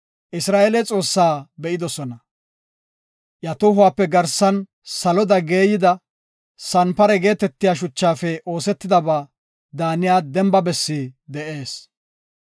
Isra7eele Xoossaa be7idosona. Iya tohuwape garsan saloda geeyida, sanpare geetetiya shuchafe oosetidaba daaniya demba bessi de7ees.